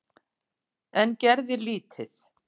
En gerði lítið.